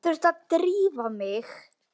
Ég þurfti að drífa mig.